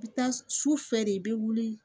I bɛ taa sufɛ de i bɛ wuli